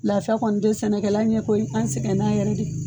Lafia kɔni tɛ sɛnɛkɛla ɲɛ koyi an sɛgɛn n'a yɛrɛ dɛ.